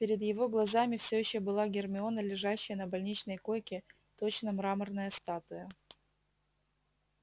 перед его глазами все ещё была гермиона лежащая на больничной койке точно мраморная статуя